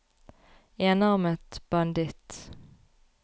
enarmet banditt